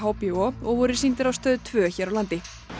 HBO og voru sýndir á Stöð tveggja hér á landi